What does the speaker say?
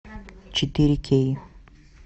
четыре кей